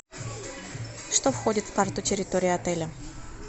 что входит в карту территории отеля